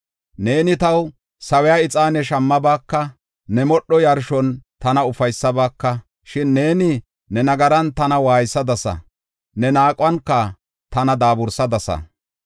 Neeni taw sawiya ixaane shammabaaka; ne modho yarshon tana ufaysabaka. Shin neeni ne nagaran tana waaysadasa; ne naaquwan tana daabursadasa.